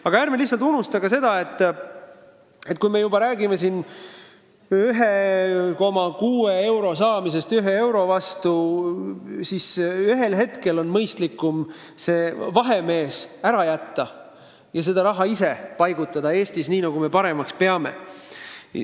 Aga ärme unustame ka seda, et kui me räägime siin 1,6 euro saamisest 1 euro vastu, siis ühel hetkel on mõistlikum see vahemees ära jätta ja seda raha ise paigutada Eestis nii, nagu me paremaks peame.